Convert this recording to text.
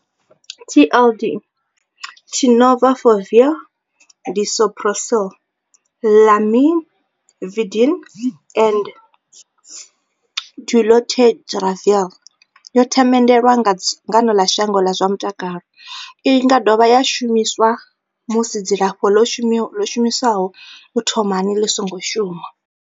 TLD, Tenofovir disoproxil, Lamivudine and dolutegravir, yo themendelwa nga dzangano ḽa shango ḽa zwa mutakalo. I nga dovha ya shumiswa musi dzilafho ḽo shumiswaho u thomani ḽi songo shuma.